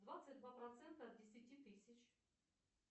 двадцать два процента от десяти тысяч